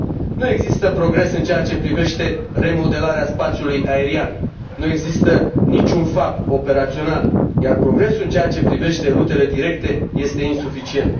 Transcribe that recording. Nu există progres în ceea ce privește remodelarea spațiului aerian, nu există niciun FAB operațional, iar progresul în ceea ce privește rutele directe este insuficient.